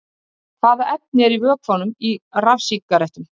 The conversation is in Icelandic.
Hvaða efni eru í vökvanum í rafsígarettum?